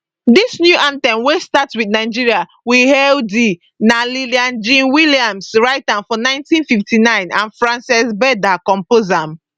dis new anthem wey start wit nigeria we hail thee na lillian jean williams write am for 1959 and frances berda compose am